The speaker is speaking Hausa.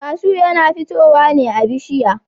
kashu yana futowa ne a bishiya.